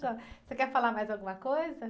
Você quer falar mais alguma coisa?